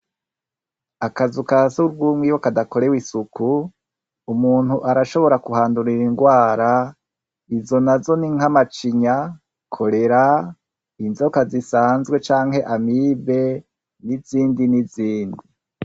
Akazu ka surwumwiwe kadakorewe isuku umuntu arashobora kuhandurira ingwara izo na zo n'inkamacinya korera inzoka zisanzwe canke amibe n'izindi n'izindi.